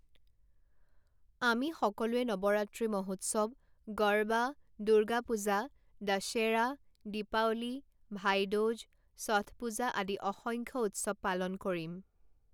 আমি সকলোৱে নৱৰাত্ৰি মহোৎসৱ, গৰবা, দুৰ্গা পুজা, দশেৰা, দিপাৱলী, ভাই দুজ, ষঠ পুজা আদি অসংখ্য উৎসৱ পালন কৰিম।